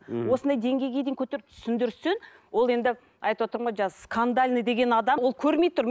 осындай деңгейге дейін көтеріп түсіндірсін ол енді айтыпватырмын ғой жаңа скандальный деген адам ол көрмей тұр